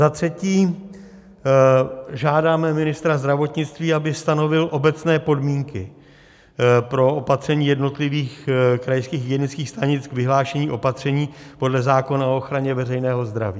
Za třetí, žádáme ministra zdravotnictví, aby stanovil obecné podmínky pro opatření jednotlivých krajských hygienických stanic k vyhlášení opatření podle zákona o ochraně veřejného zdraví.